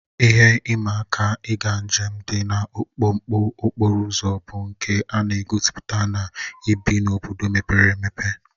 Ihe ịma aka ịga njem, dị ka mkpọkọ okporo ụzọ bụ nke a na-egosipụta na ibi n'obodo mepere emepe